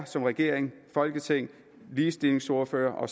som regering og folketing ligestillingsordførere og